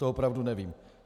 To opravdu nevím.